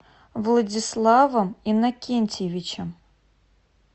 владиславом иннокентьевичем